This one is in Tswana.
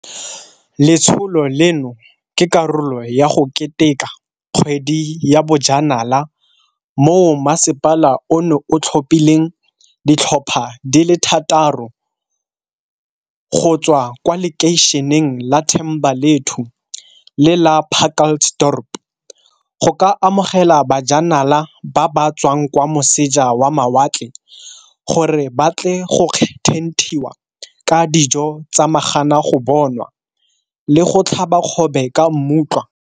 Letsholo leno ke karolo ya go keteka Kgwedi ya Bojanala moo masepala ono o tlhophileng ditlhopha di le thataro go tswa kwa lekeišeneng la Thembalethu le la Pacalts dorp go ka amogela bajanala ba ba tswang kwa moseja wa mawatle gore ba tle go thenthiwa ka dijo tsa magana go bonwa le go tlhaba kgobe ka mmutlwa.